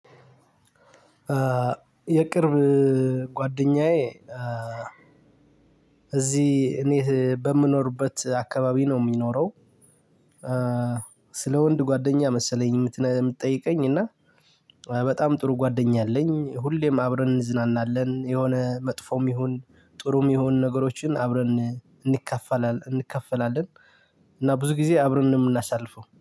የቅርብ ጓደኛዬ እዚህ እኔ በምኖርበት አካባቢ ነው የሚኖረው ስለ ወንድ ጓደኛ መሰለኝ የምትጠይቀኝ እና በጣም ጥሩ ጓደኛ አለኝ። ሁሌም አብረን እንዝናናለን የሆነ መጥፎም ይሁን ጥሩም የሆኑ ነገሮችን አብረን እንካፈላለ እንካፈላለን እና ብዙ ጊዜ አብረን ነው የምናሳልፈው።